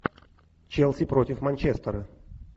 челси против манчестера